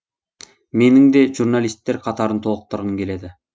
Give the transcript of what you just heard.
менің де журналисттер қатарын толықтырғым келеді